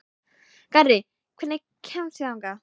Garri, hvernig kemst ég þangað?